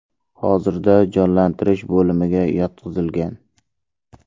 Hozirda jonlantirish bo‘limiga yotqizilgan.